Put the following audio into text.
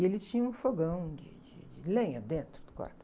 E ele tinha um fogão de, de, de lenha dentro do quarto.